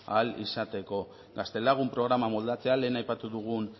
ahal izateko gaztelagun programa moldatzea lehen aipatu dugun